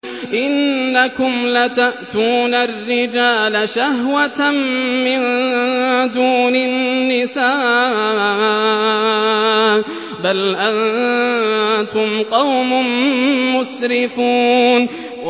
إِنَّكُمْ لَتَأْتُونَ الرِّجَالَ شَهْوَةً مِّن دُونِ النِّسَاءِ ۚ بَلْ أَنتُمْ قَوْمٌ مُّسْرِفُونَ